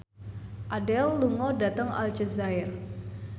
Adele lunga dhateng Aljazair